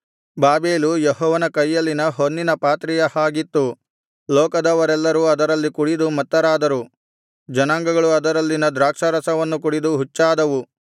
Babel ಯೆಹೋವನ ಕೈಯಲ್ಲಿನ ಹೊನ್ನಿನ ಪಾತ್ರೆಯ ಹಾಗಿತ್ತು ಲೋಕದವರೆಲ್ಲರೂ ಅದರಲ್ಲಿ ಕುಡಿದು ಮತ್ತರಾದರು ಜನಾಂಗಗಳು ಅದರಲ್ಲಿನ ದ್ರಾಕ್ಷಾರಸವನ್ನು ಕುಡಿದು ಹುಚ್ಚಾದವು